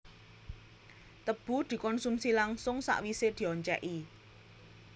Tebu dikonsumsi langsung sawisé dioncèki